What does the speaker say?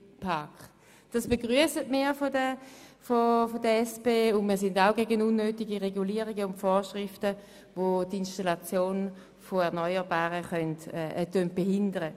Die SP-JUSO-PSA-Fraktion begrüsst dies, und wir sind ebenfalls gegen unnötige Regulierungen und Vorschriften, welche die Installation erneuerbarer Energieträger behindern.